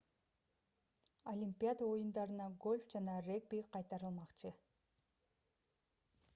олимпиада оюндарына гольф жана регби кайтарылмакчы